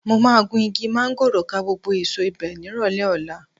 Mo máa gun igi máńgòrò ká gbogbo èso ibẹ̀ nírọ̀lẹ́ ọ̀la